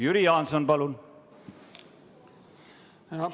Jüri Jaanson, palun!